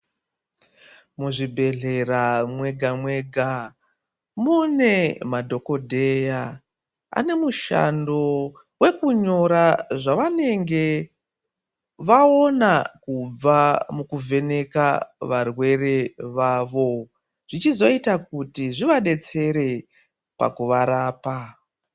Muzvi bhedhlera mwega mwega mune madhokodheya ane mushando wekunyora zvavanenge vaona kubva mukuvheneka varwere vavo, zvichizoita kuti zvivadetsere pakuva rapa.